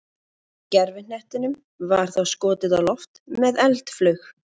Gervihnettinum var þá skotið á loft með eldflaug.